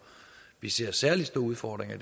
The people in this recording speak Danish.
vi ser særlig store udfordringer